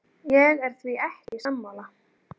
Ég er því ekki sammála.